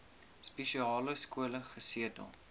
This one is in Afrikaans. spesiale skole gesetel